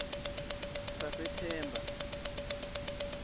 sasethemba